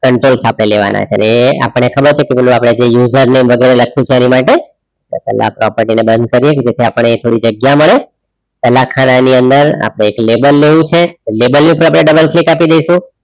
Enters આપણે લેવાના છીએ. અને એ આપણને ખબર છે કે user ને બધું લખ્યું છે એની માટે પહેલા આપણે આ property ને બંધ કરીએ કે જેથી આપણને થોડી જગ્યા મળે પહેલા ખાના ની અંદર આપણે એક label લેવું છે. label ની ઉપર આપણે double click આપી દઈશું.